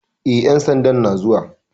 E, ƴan sandan na zuwa.